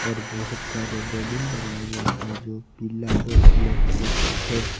और बहोत सारे बैलून लगाए गए हैं जो पीला और ब्लैक कलर का है।